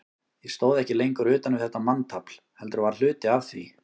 Ég stóð ekki lengur utan við þetta manntafl, heldur var hluti af því.